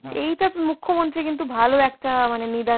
এইটা মুখ্যমন্ত্রী কিন্তু ভালো একটা মানে নিদান.